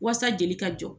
Wasa jeli ka jɔ